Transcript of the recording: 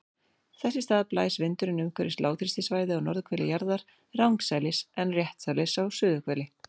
Þess í stað blæs vindurinn umhverfis lágþrýstisvæði á norðurhveli jarðar rangsælis en réttsælis á suðurhveli.